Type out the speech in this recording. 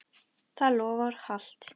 Það loforð halt.